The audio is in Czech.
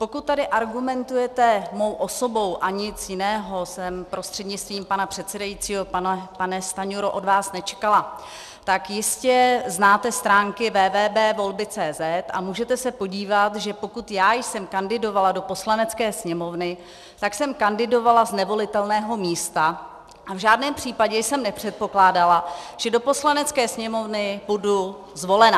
Pokud tady argumentujete mou osobou, a nic jiného jsem, prostřednictvím pana předsedajícího pane Stanjuro, od vás nečekala, tak jistě znáte stránky www.volby.cz, a můžete se podívat, že pokud já jsem kandidovala do Poslanecké sněmovny, tak jsem kandidovala z nevolitelného místa, a v žádném případě jsem nepředpokládala, že do Poslanecké sněmovny budu zvolena.